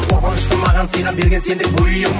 қорқынышты маған сыйға берген сендік бұйым